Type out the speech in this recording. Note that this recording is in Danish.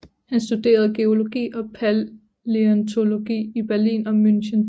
Han studerede geologi og palæontologi i Berlin og München